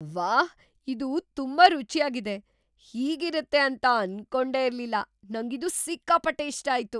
ವಾಹ್! ಇದು ತುಂಬಾ ರುಚ್ಯಾಗಿದೆ, ಹೀಗಿರತ್ತೆ ಅಂತ ಅನ್ಕೊಂಡೇ ಇರ್ಲಿಲ್ಲ. ನಂಗಿದು ಸಿಕ್ಕಾಪಟ್ಟೆ ಇಷ್ಟ ಆಯ್ತು.